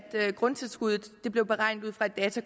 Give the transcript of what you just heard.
grundtilskuddet blev beregnet ud fra et